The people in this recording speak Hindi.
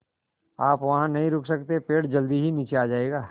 आप वहाँ नहीं रुक सकते पेड़ जल्दी ही नीचे आ जाएगा